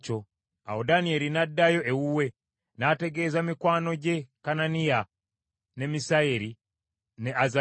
Awo Danyeri n’addayo ewuwe, n’ategeeza mikwano gye Kananiya, ne Misayeri ne Azaliya,